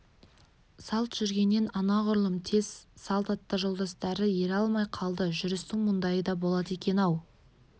салт жүргеннен анағүрлым тез салт атты жолдастары ере алмай қалды жүрістің мұндайы да болады екен-ау